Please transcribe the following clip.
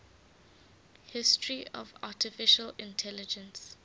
history of artificial intelligence